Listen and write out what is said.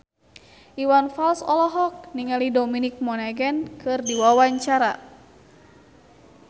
Iwan Fals olohok ningali Dominic Monaghan keur diwawancara